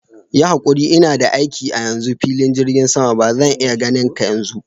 Yi hakuri, ina da aiki a hannu cikin filin jigin sama, bazan iya ganinka yanzu.